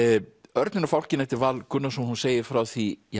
Örninn og fálkinn eftir Val Gunnarsson hún segir frá því